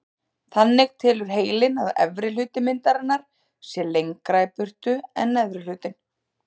Þannig telur heilinn að efri hluti myndarinnar sé lengra í burtu en neðri hlutinn.